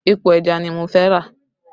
Epo ẹja ni mo fẹ́ rà